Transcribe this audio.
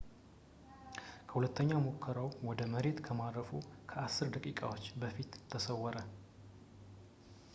ከሁለተኛ ሙከራው ወደ መሬት ከማረፉ ከአስር ደቂቃዎች በፊት ተሰወረ